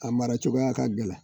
A mara cogoyaya ka gɛlɛn